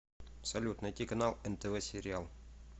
салют найти канал нтв сериал